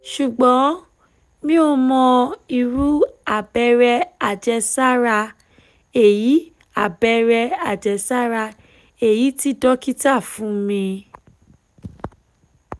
ṣùgbọ́n mi ò mọ iru abere ajesara eyi abere ajesara eyi tí dókítà fún mi